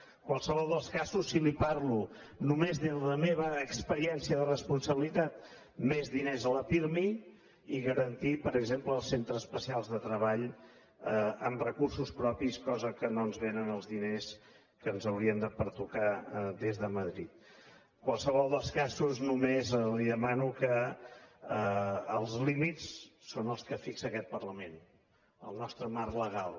en qualsevol dels casos si li parlo només de la meva experiència de responsabilitat més diners al pirmi i garantir per exemple els centres especials de treball amb recursos propis cosa que no ens vénen els diners que ens haurien de pertocar des de madrid en qualsevol dels casos només li demano que els límits són els que fixa aquest parlament el nostre marc legal